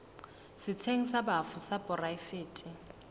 setsheng sa bafu sa poraefete